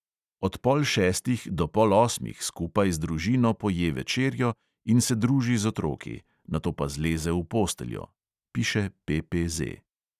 "Od pol šestih do pol osmih skupaj z družino poje večerjo in se druži z otroki, nato pa zleze v posteljo," piše PPZ.